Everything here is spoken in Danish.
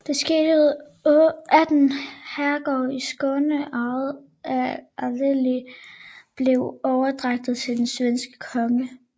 Det skete ved at 18 herregårde i Skåne ejet af adelige blev overdraget til den svenske konge